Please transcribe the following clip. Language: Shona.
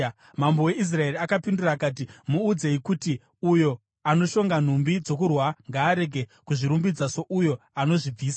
Mambo weIsraeri akapindura akati, “Muudzei kuti, ‘Uyo anoshonga nhumbi dzokurwa ngaarege kuzvirumbidza souyo anodzibvisa.’ ”